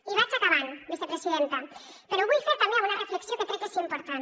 i vaig acabant vicepresidenta però ho vull fer també amb una reflexió que crec que és important